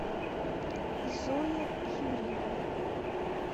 зоя юрьевна